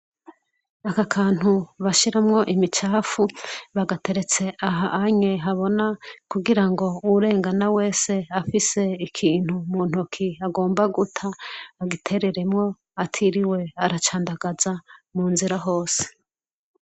Aka kantu bashiramwo imicafu bagateretse aha habona kugira ngo uwurengana wese afise ikintu mu ntoki agomba guta agitereremwo atiriwe aracandagaza mu nzira hose.